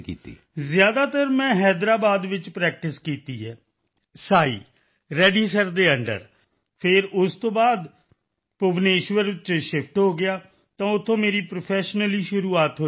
ਅਮਲਾਨ ਜ਼ਿਆਦਾਤਰ ਮੈਂ ਹੈਦਰਾਬਾਦ ਵਿੱਚ ਪ੍ਰੈਕਟਿਸ ਕੀਤੀ ਹੈ ਸਾਈਂ ਰੈੱਡੀ ਸਰ ਦੇ ਅੰਡਰ ਫਿਰ ਉਸ ਤੋਂ ਬਾਅਦ ਵਿੱਚ ਭੁਵਨੇਸ਼ਵਰ ਵਿਖੇ ਸ਼ਿਫਟ ਹੋ ਗਿਆ ਤਾਂ ਉੱਥੋਂ ਮੇਰੀ ਪ੍ਰੋਫੈਸ਼ਨਲੀ ਸ਼ੁਰੂਆਤ ਹੋਈ ਸਰ